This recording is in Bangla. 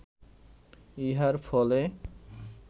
ইহার ফলে